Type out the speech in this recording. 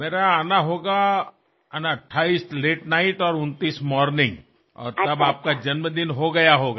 मेरा आना होगा 28 लते नाइट और 29 मॉर्निंग और तब आपका जन्मदिन हो गया होगा